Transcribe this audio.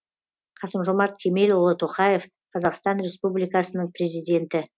қасым жомарт кемелұлы тоқаев қазақстан республикасының президенті